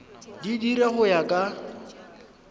di dira go ya ka